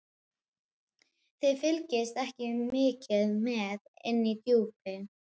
Þið fylgist ekki mikið með inni í Djúpi.